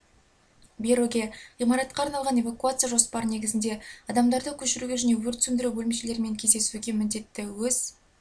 беруге ғимаратқа арналған эвакуация жоспары негізінде адамдарды көшіруге және өрт сөндіру бөлімшелерімен кездесуге міндетті өз